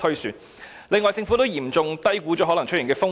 此外，政府亦嚴重低估了可能出現的風險。